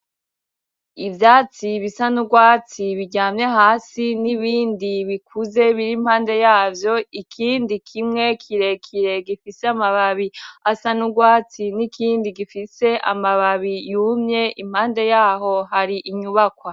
Ivyatsi bisanurwatsi biryamye hasi n'ibindi bikuze biri impande yavyo ikindi kimwe kirekire gifise amababi asanurwatsi n'ikindi gifise amababi yumye impande yaho hari inyubakwa.